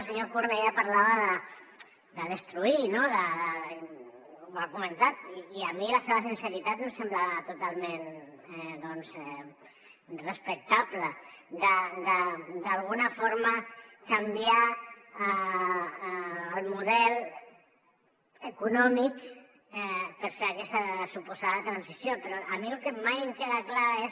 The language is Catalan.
el senyor cornellà parlava de destruir no ho ha comentat i a mi la seva sinceritat em sembla totalment doncs respectable d’alguna forma canviar el model econòmic per fer aquesta suposada transició però a mi el que mai em queda clar és